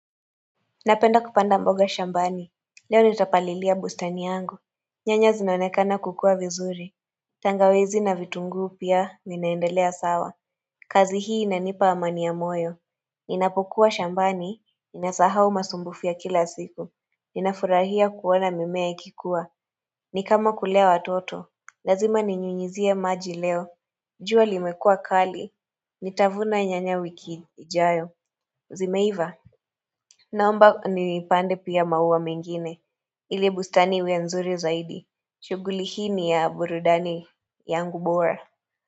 Napenda kupanda mboga shambani Leo nitapalilia bustani yangu nyanya zinaonekana kukua vizuri tangawizi na vitunguu pia zinaendelea sawa kazi hii inanipa amani ya moyo Ninapokuwa shambani ninasahau masumbufu ya kila siku Ninafurahia kuona mimea ikikua ni kama kulea watoto Lazima ninyunyizie maji leo jua limekua kali Nitavuna nyanya wiki ijayo Zimeiva Naomba nipande pia maua mengine. Ile bustani iwe nzuri zaidi. Shughuli hii ni ya burudani yangu bora.